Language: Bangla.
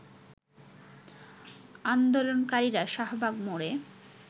আন্দোলনকারীরা শাহবাগ মোড়ে